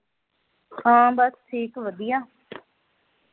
ਹਾਂ ਬਸ ਠੀਕ ਵਧੀਆ